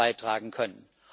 beitragen können.